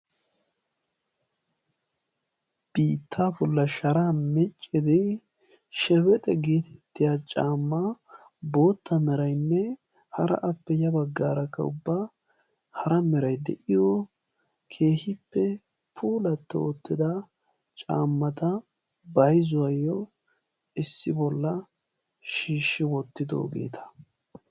biittaa bollan shara miccidi "shebexe" geetettiya caamma bootta meraynne hara appe ya baggaarakka ubba hara meray de7iyoo keehippe pulatti uttida caammata bayzuwaayyo issi bolla shiishshi wottidoogeeta.